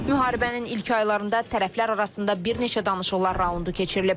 Müharibənin ilk aylarında tərəflər arasında bir neçə danışıqlar raundu keçirilib.